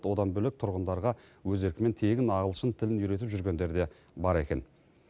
одан бөлек тұрғындарға өз еркімен тегін ағылшын тілін үйретіп жүргендер де бар екен